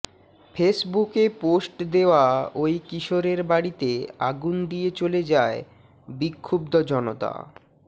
ফেসবুকে পোস্ট দেয়া ওই কিশোরের বাড়িতে আগুন দিয়ে চলে যায় বিক্ষুব্ধ জনতা